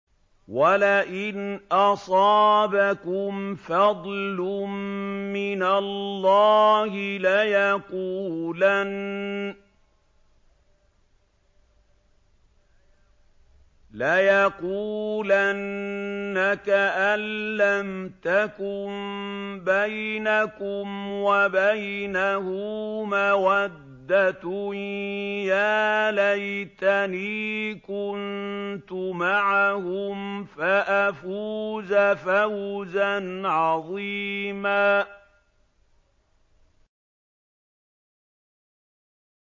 وَلَئِنْ أَصَابَكُمْ فَضْلٌ مِّنَ اللَّهِ لَيَقُولَنَّ كَأَن لَّمْ تَكُن بَيْنَكُمْ وَبَيْنَهُ مَوَدَّةٌ يَا لَيْتَنِي كُنتُ مَعَهُمْ فَأَفُوزَ فَوْزًا عَظِيمًا